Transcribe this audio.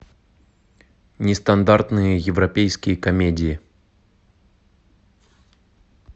нестандартные европейские комедии